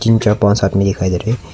जिनके पास आदमी दिखाई दे रहे हैं।